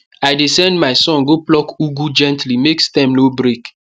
i dey send my son go pluck ugu gently make stem no break